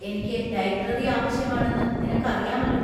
എനിക്ക് ലൈബ്രറി ആവശ്യമാണെന്ന് നിനക്കറിയാമല്ലോ.